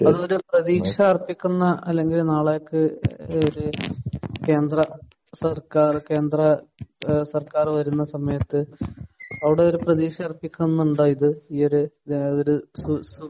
പ്രതീക്ഷയർഹിക്കുന്ന അല്ലെങ്കിൽ നാളേക്ക് ഒരു കേന്ദ്ര സർക്കാർ കേന്ദ്ര ഏഹ് സർക്കാർ വരുന്ന സമയത്ത് അവിടെയൊരു പ്രതീക്ഷ അർഹിക്കുന്നുണ്ടോ ഇത്? ഈ ഒരു ഏഹ് സു